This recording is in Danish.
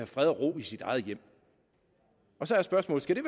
fred og ro i sit eget hjem så er spørgsmålet skal